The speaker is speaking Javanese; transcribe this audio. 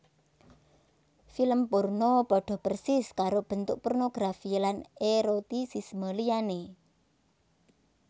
Film porno padha persis karo bentuk pornografi lan erotisisme liyané